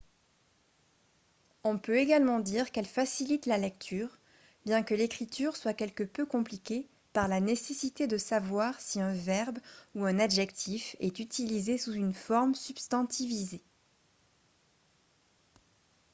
on peut également dire qu'elle facilite la lecture bien que l'écriture soit quelque peu compliquée par la nécessité de savoir si un verbe ou un adjectif est utilisé sous une forme substantivisée